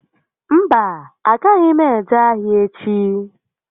Mba, a agaghị m eje ahịa echi